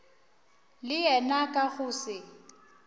le yena ka go se